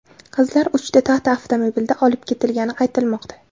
Qizlar uchta Tata avtomobilida olib ketilgani aytilmoqda.